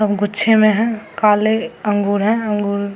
और गुच्छे में है काले अंगूर है अंगूर --